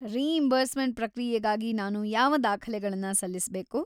Reimbursement ಪ್ರಕ್ರಿಯೆಗಾಗಿ ನಾನು ಯಾವ ದಾಖಲೆಗಳನ್ನ ಸಲ್ಲಿಸ್ಬೇಕು?